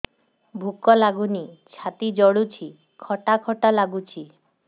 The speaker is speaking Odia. ଭୁକ ଲାଗୁନି ଛାତି ଜଳୁଛି ଖଟା ଖଟା ଲାଗୁଛି